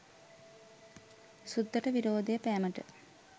සුද්දට විරෝධය පෑමට